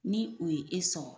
Ni o ye e sɔrɔ.